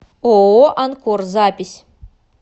ооо анкор запись